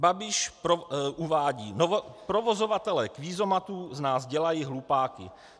Babiš uvádí: "Provozovatelé kvízomatů z nás dělají hlupáky.